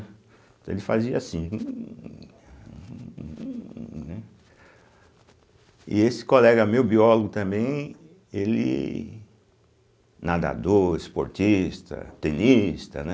Então ele fazia assim (som de hum prolongado) E esse colega meu, biólogo também, ele nadador, esportista, tenista, né?